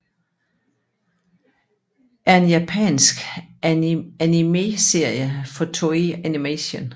er en japansk animeserie fra Toei Animation